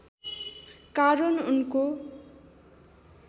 कारण उनको